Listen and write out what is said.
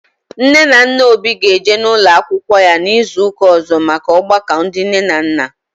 Nne na nna Obi ga eje n'ụlọ akwụkwọ ya n'izu ụka ọzọ maka ọgbakọ ndị nne na nna